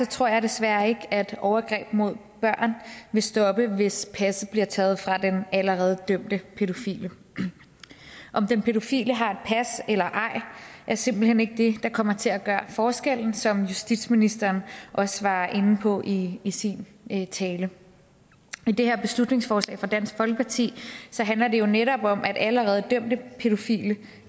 tror jeg desværre ikke at overgreb mod børn vil stoppe hvis passet bliver taget fra den allerede dømte pædofile om den pædofile har et pas eller ej er simpelt hen ikke det der kommer til at gøre forskellen som justitsministeren også var inde på i i sin tale det her beslutningsforslag fra dansk folkeparti handler jo netop om allerede dømte pædofile